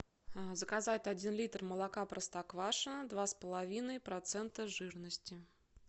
заказать один литр молока простоквашино два с половиной процента жирности